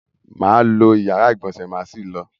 Mà á lo ìyára-ìgbọ̀nsẹ̀ má sì lọ.